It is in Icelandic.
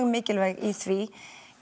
mikilvæg í því